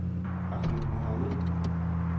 Ahmad Mohamed